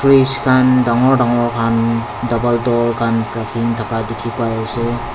fridge khan dangor dangor khan double door khan rakin thaka dikhipaiase.